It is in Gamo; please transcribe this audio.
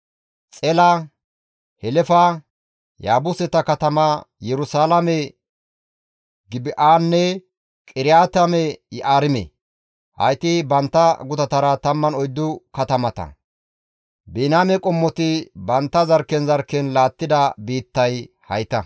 Xela, Helefa, Yaabuseta katama Yerusalaame, Gibi7anne Qiriyaate-Yi7aarime. Hayti bantta gutatara 14 katamata. Biniyaame qommoti bantta zarkken zarkken laattida biittay hayta.